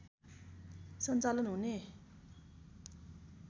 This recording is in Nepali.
सञ्चालन हुने